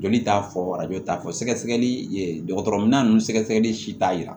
Joli t'a fɔ arajo t'a fɔ sɛgɛsɛgɛli dɔgɔtɔrɔya ninnu sɛgɛsɛgɛli si t'a yira